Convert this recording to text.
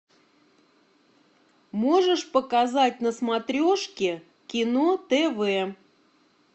можешь показать на смотрешке кино тв